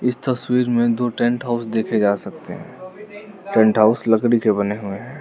इस तस्वीर में दो टेंट हाउस देखे जा सकते हैं टेंट हाउस लकड़ी के बने हैं।